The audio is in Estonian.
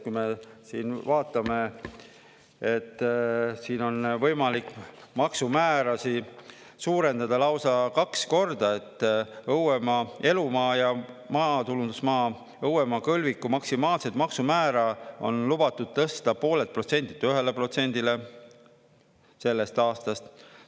Kui me siin nüüd vaatame, siin on võimalik maksumäärasid suurendada lausa kaks korda: õuemaa, elumaa ja maatulundusmaa, õuemaa kõlviku maksimaalset maksumäära on lubatud tõsta 0,5%-lt 1%-le sellest aastast.